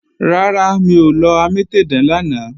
Rárá, mi ò lọ amétèdán lánàá